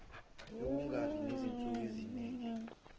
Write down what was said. yokungabi nezinsuku ezanele